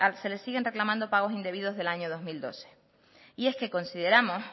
se les siguen reclamando pagos indebidos del año dos mil doce consideramos